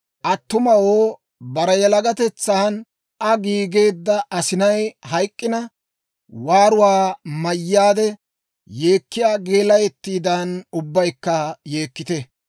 Attumawoo, bare yalagatetsan Aa giigeedda asinay hayk'k'ina, waaruwaa mayyaade yeekkiyaa geelayattiidan, ubbaykka yeekkite!